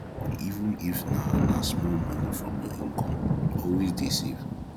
even if na na small money from your income always dey save